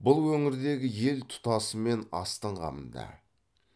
бұл өңірдегі ел тұтасымен астың қамында